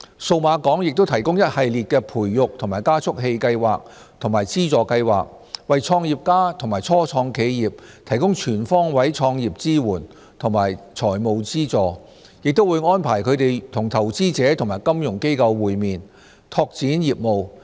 數碼港亦提供一系列培育及加速器計劃和資助計劃，為創業家及初創企業提供全方位創業支援和財務資助，亦會安排他們與投資者和金融機構會面，拓展業務。